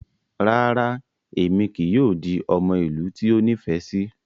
Rara, Emi kii yoo di ọmọ ilu ti o nifẹ si